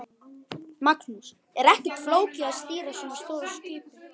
Magnús: Er ekkert flókið að stýra svona stóru skipi?